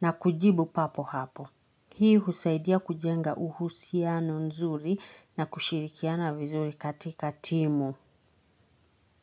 na kujibu papo hapo. Hii husaidia kujenga uhusiano nzuri na kushirikiana vizuri katika timu.